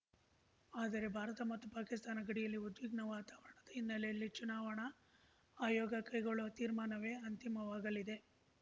ಆದರೆ ಭಾರತ ಮತ್ತು ಪಾಕಿಸ್ತಾನ ಗಡಿಯಲ್ಲಿನ ಉದ್ವಿಗ್ನ ವಾತಾವರಣದ ಹಿನ್ನೆಲೆಯಲ್ಲಿ ಚುನಾವಣಾ ಆಯೋಗ ಕೈಗೊಳ್ಳುವ ತೀರ್ಮಾನವೇ ಅಂತಿಮವಾಗಲಿದೆ